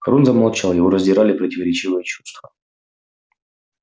рон замолчал его раздирали противоречивые чувства